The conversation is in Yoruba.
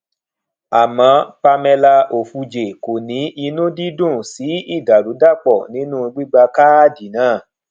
àmọ pamela ofuje kò ní inú dídùn sí ìdàrúdàpò nínú gbígba káàdì náà